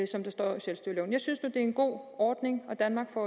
som det står i selvstyreloven jeg synes nu det er en god ordning og danmark får